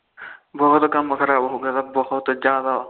ਬਹੁਤ ਕੰਮ ਖਰਾਬ ਹੋ ਗਿਆ ਤਾ ਬਹੁਤ ਜਾਦਾ